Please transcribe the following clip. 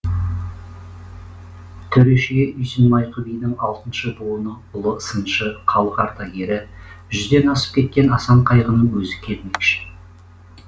төрешіге үйсін майқы бидің алтыншы буыны ұлы сыншы халық ардагері жүзден асып кеткен асан қайғының өзі келмекші